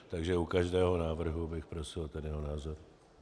Takže u každého návrhu bych prosil ten jeho názor.